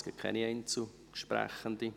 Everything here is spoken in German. Es gibt keine Einzelsprechende.